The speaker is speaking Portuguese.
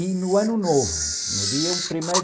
E no ano novo, no dia um,